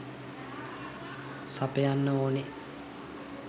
සපයන්න ඕනේ.